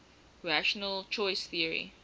rational choice theory